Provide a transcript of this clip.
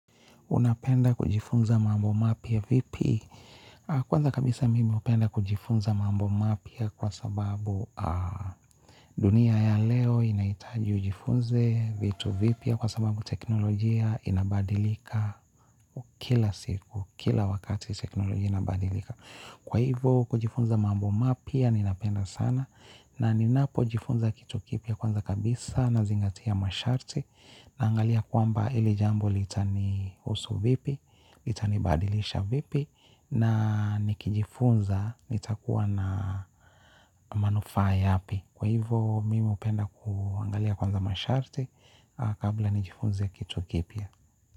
Unapenda kujifunza mambo mapya vipi? Kwanza kabisa mimi hupenda kujifunza mambo mapya kwa sababu dunia ya leo inaitaji ujifunze vitu vipya kwa sababu teknolojia inabadilika kila siku, kila wakati teknolojia inabadilika. Kwa hivo kujifunza mambo mapya ninapenda sana, na ninapojifunza kitu kipya kwanza kabisa nazingatia masharti naangalia kwamba ili jambo litanihusu vipi? Litanibadilisha vipi? Na nikijifunza nitakuwa na manufaa yapi? Kwa hivyo mimi hupenda kuangalia kwanza masharti kabla nijifunze kitu kipya.